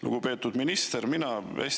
Lugupeetud minister!